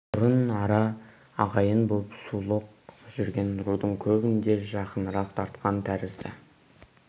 бұрын ара ағайын боп сұлық жүрген рудың көбін де жақынырақ тартқан тәрізді